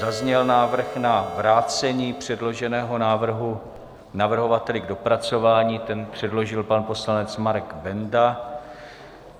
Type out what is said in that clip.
Zazněl návrh na vrácení předloženého návrhu navrhovateli k dopracování, ten předložil pan poslanec Marek Benda.